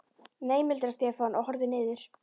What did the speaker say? Nei muldraði Stefán og horfði niður.